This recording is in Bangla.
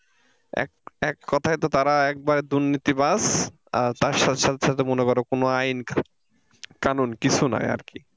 এককথায় তো তারা একবার দুর্নীতিবাজ আর তার সাথে সাথে মনে করো কোনো আইন কানুন কিছু নাই আর কি।